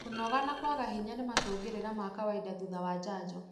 Kũnoga na kwaga hinya nĩ macũngĩrĩra ma kawainda thutha wa janjo